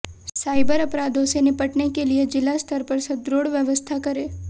cyber अपराधों से निपटने के लिये जिला स्तर पर सुदृढ़ व्यवस्था करें